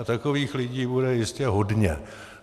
A takových lidí bude jistě hodně.